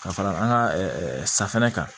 Ka fara an ka safinɛ kan